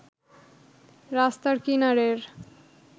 রাস্তার কিনারের